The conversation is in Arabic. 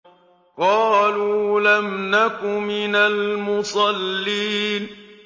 قَالُوا لَمْ نَكُ مِنَ الْمُصَلِّينَ